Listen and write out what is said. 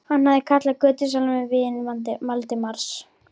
Hann hafði kallað götusalann vin Valdimars.